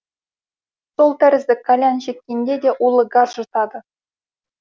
сол тәрізді кальян шеккенде де улы газ жұтады